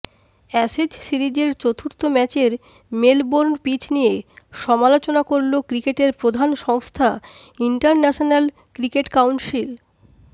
Ashes সিরিজের চতুর্থ ম্যাচের মেলবোর্ন পিচ নিয়ে সমালোচনা করলো ক্রিকেটের প্রধান সংস্থা ইন্টারন্যাশনাল ক্রিকেট কাউন্সিল